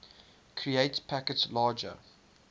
create packets larger